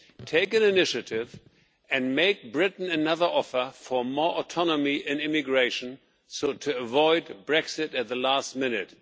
Take the initiative and make Britain another offer for more autonomy in immigration, so as to avoid Brexit at the last minute.